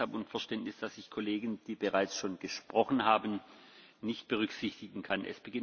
Ich bitte deshalb um Verständnis, dass ich Kollegen, die bereits gesprochen haben, nicht berücksichtigen kann.